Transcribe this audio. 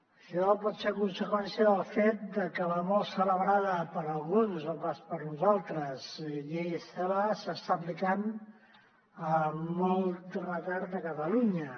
això pot ser conseqüència del fet de que la molt celebrada per alguns no pas per nosaltres llei celaá s’està aplicant amb molt retard a catalunya